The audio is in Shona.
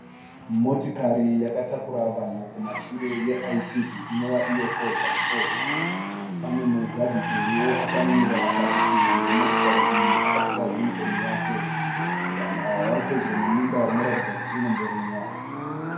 Motikari yakatakura vanhu kumashure yeisuzu inova iyo 4×4 . Pane mugadhijeriwo akamira parutivi rwemotokari iyi akapfeka yunhifomu yake. Vanhu ava vari pedyo nemunda unoratidza kuti unomborimwa.